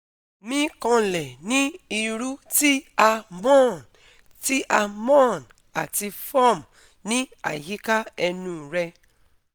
mi kanlẹ ní irú ti a moan ti a moan ati [ form ni ayika ẹnu rẹ